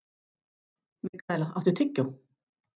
Mikaela, áttu tyggjó?